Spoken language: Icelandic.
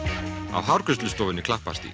á hárgreiðslustofunni Klapparstíg